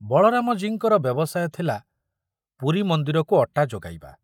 ବଳରାମଜୀଙ୍କର ବ୍ୟବସାୟ ଥିଲା ପୁରୀ ମନ୍ଦିରକୁ ଅଟା ଯୋଗାଇବା।